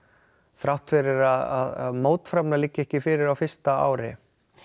þrátt fyrir að mótframlag liggi ekki fyrir fyrsta ári